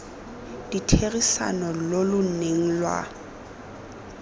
ditherisano lo lo neng lwa